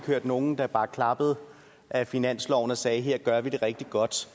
hørt nogen der bare klappede ad finansloven og sagde her gør vi det rigtig godt